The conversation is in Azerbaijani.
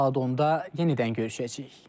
Saat 10-da yenidən görüşəcəyik.